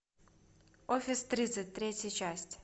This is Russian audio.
офис тридцать третья часть